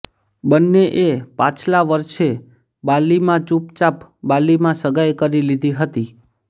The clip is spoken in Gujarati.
બંનેએ પાછલા વર્ષે બાલીમાં ચૂપચાપ બાલીમાં સગાઈ કરી લીધી હતી